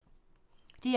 DR1